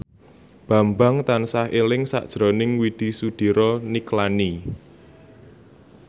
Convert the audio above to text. Bambang tansah eling sakjroning Widy Soediro Nichlany